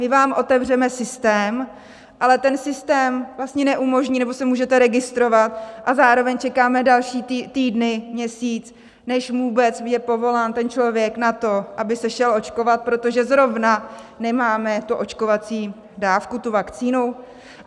My vám otevřeme systém, ale ten systém vlastně neumožní, nebo se můžete registrovat a zároveň čekáme další týdny, měsíc, než vůbec je povolán ten člověk na to, aby se šel očkovat, protože zrovna nemáme tu očkovací dávku, tu vakcínu?